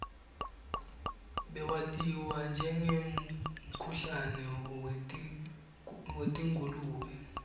bewatiwa njengemkhuhlane wetingulube